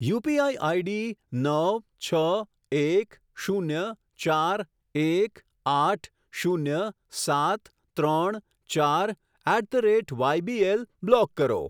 UPI ID નવ છ એક શૂન્ય ચાર એક આઠ શૂન્ય સાત ત્રણ ચાર at the rate YBL block કરો.